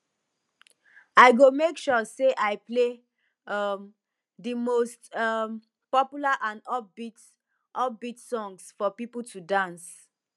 i go make sure say i play um di most um popular and upbeat upbeat songs for people to dance